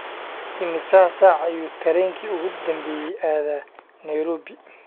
immisa saac ayuu tareenkii ugu dambeeyay aadaa nairobi?